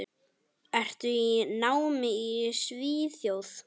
Ertu í námi í Svíþjóð?